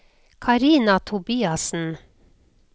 Karina Tobiassen